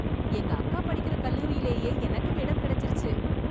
எங்க அக்கா படிக்கிற கல்லூரிலேயே எனக்கும் இடம் கிடைச்சுருச்சு.